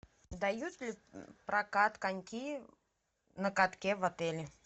дают ли прокат коньки на катке в отеле